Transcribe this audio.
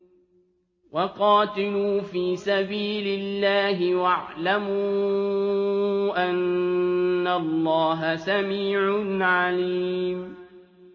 وَقَاتِلُوا فِي سَبِيلِ اللَّهِ وَاعْلَمُوا أَنَّ اللَّهَ سَمِيعٌ عَلِيمٌ